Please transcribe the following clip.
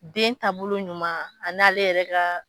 Den taabolo ɲuman a n'ale yɛrɛ gaa